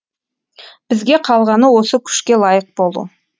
бізге қалғаны осы күшке лайық болу